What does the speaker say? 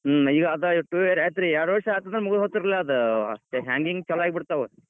ಹ್ಮ್‌ ಈಗ ಆದ್ two year ಆತ್ರಿ ಎರಡ್ ವರ್ಷ್ ಆತ ಅಂದ್ರ್ ಮುಗದ್ ಹೋಯಿತ್ರಿಲಾ ಆದ್ hanging ಚಾಲೋ ಆಗಿಬಿಡ್ತಾವ್.